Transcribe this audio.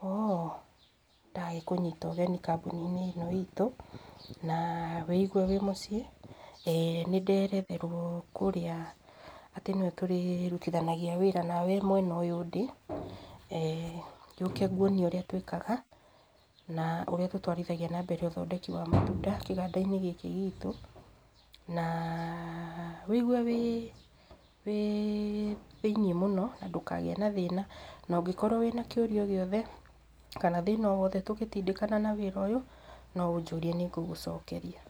Nĩndagĩkũnyita ũgeni kambuni-inĩ ĩno itũ, na wĩigue wĩmũciĩ, na nĩ nderetherwo kũrĩa, atĩ nĩwe tũrĩrutithanagia nawe wĩra mwena ũyũ ndĩ. eeh Gĩũke nguonie ũrĩa tũrĩkaga, na ũrĩa tũtwarithagia na mbere ũthondeki wa maguta kĩganda-inĩ gĩkĩ gitũ, na wĩigue wĩĩ, thĩiniĩ mũno, na ndũkagĩe na thĩna, na ũngĩkorwo wĩ na kĩũria o gĩothe, kana thĩna o wothe tũgĩtindĩkana na wĩra ũyũ, no ũnjũrie nĩ ngũgũcokeria.